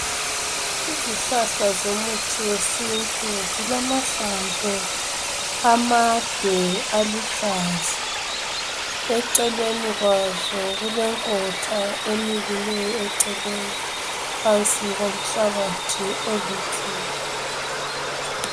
Izihlahla zomuthi wesintu zilamahlamvu amade aluhlaza, eceleni kwazo kulenkotha emilileyo eceleni phansi komhlabathi oluthuli.